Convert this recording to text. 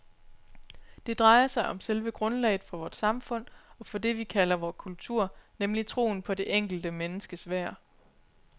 Det drejer sig om selve grundlaget for vort samfund, og for det vi kalder vor kultur, nemlig troen på det enkelte menneskes værd.